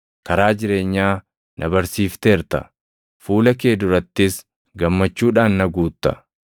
Karaa jireenyaa na barsiifteerta; fuula kee durattis gammachuudhaan na guutta.’ + 2:28 \+xt Far 16:8‑11\+xt*